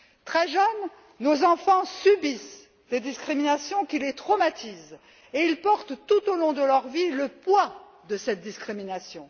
Très jeunes, nos enfants subissent des discriminations qui les traumatisent et ils portent tout au long de leur vie le poids de ces discriminations.